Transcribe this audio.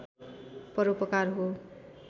परोपकार हो